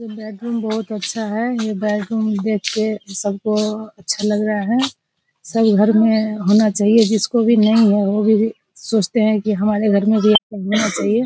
Bedroom बहुत अच्छा है ये बेडरूम देख के सब को बहुत अच्छा लग रहा है सब घर में होना चाहिए। जिसकों भी नहीं हो वो भी सोचते हैं की हमारे घर में भी एक होना चाहिए।